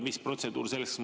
Mis protseduur selleks on?